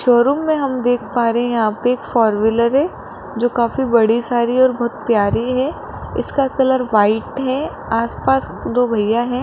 Showroom में हम देख पा रहें यहां एक फोर व्हीलर है जो काफी बड़ी सारी और बहोत प्यारी है इसका कलर व्हाइट है आस पास दो भैया है।